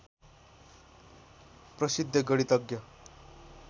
प्रसिद्ध गणितज्ञ